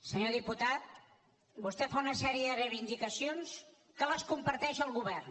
senyor diputat vostè fa una sèrie de reivindicacions que les comparteix el govern